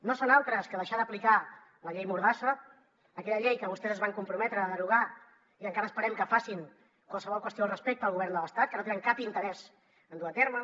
no són altres que deixar d’aplicar la llei mordassa aquella llei que vostès es van comprometre a derogar i encara esperem que facin qualsevol qüestió al respecte al govern de l’estat que no tenen cap interès en dur a terme